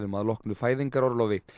að loknu fæðingarorlofi